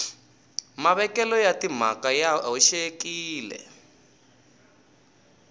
mavekelo ya timhaka ya hoxekile